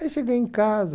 Aí cheguei em casa...